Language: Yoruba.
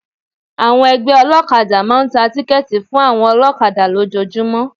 Àwọn ẹgbẹ́ olọ́kadà máa ń tà tíkẹ́tì fún àwọn olọ́kadà lójọọjúmọ́.